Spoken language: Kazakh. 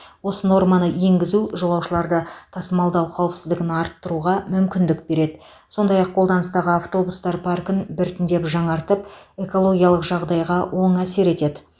осы норманы енгізу жолаушыларды тасымалдау қауіпсіздігін арттыруға мүмкіндік береді сондай ақ қолданыстағы автобустар паркін біртіндеп жаңартып экологиялық жағдайға оң әсер етеді